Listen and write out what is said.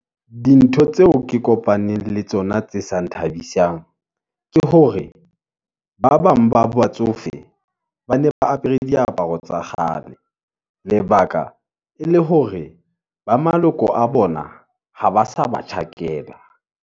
Dintho tseo ke kopaneng le tsona tse sa nthabisang, ke hore ba bang ba batsofe, ba ne ba apere diaparo tsa kgale , lebaka e le hore ba maloko a bona, ha ba sa ba tjhakela.